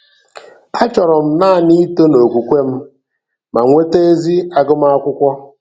Achọrọ m naanị ito n’okwukwe m ma nweta ezi agụmakwụkwọ.